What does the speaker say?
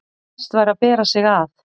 best væri að bera sig að.